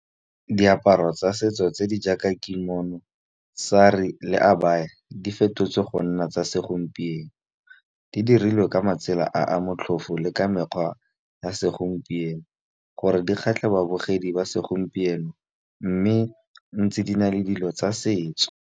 Diaparo tsa setso tse di jaaka kimono, saree le abaya di fetotswe go nna tsa segompieno. Di dirilwe ka matsela a a motlhofo le ka mekgwa ya segompieno gore di kgatlhe babogedi ba segompieno mme ntse di na le dilo tsa setso.